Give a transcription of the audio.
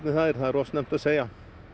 það er of snemmt að segja